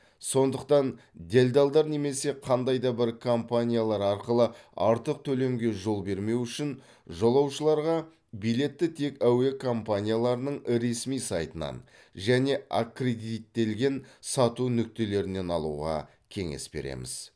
сондықтан делдалдар немесе қандай да бір компаниялар арқылы артық төлемге жол бермеу үшін жолаушыларға билетті тек әуе компанияларының ресми сайтынан және аккредиттелген сату нүктелерінен алуға кеңес береміз